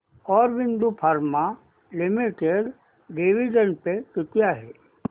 Aurobindo pharma limited dividend pay किती आहे